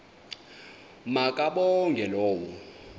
ma kabongwe low